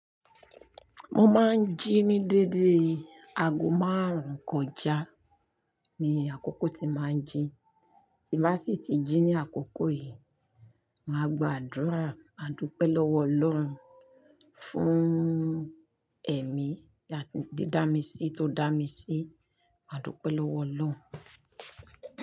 Mo máa ń jí ní dédé aago márùn-ún kọjá ni àkókò tí màá ń jí. Ti bá sì ti jí ní àkókò yìí, màá gba àdúrà, máa dúpẹ́ lọ́wọ́ Ọlọ́run fún ẹ̀mí di dá mi sí, tó dá mi sí. Màá dúpẹ́ lọ́wọ́ Ọlọ́run.